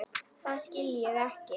Það skil ég ekki.